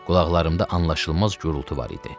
Qulaqlarımda anlaşılmaz gurultu var idi.